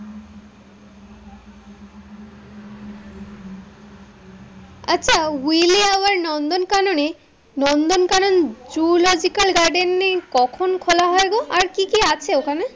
আচ্ছা, উইলি আওয়ার নন্দন কাননে, নন্দন কানন বোটানিক্যাল গার্ডেন কখন খোলা হয় গো? আর কি কি আছে ওখানে?